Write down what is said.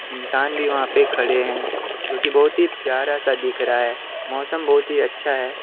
इंसान भी वहां पे खड़े हैं जो कि बहुत ही प्यार सा दिख रहा है मौसम बहुत ही अच्छा है।